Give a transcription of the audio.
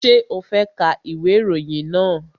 Ṣé o fẹ́ ka ìwé ìròyìn náà?